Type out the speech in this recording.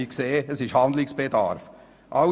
Wir sehen, dass Handlungsbedarf besteht.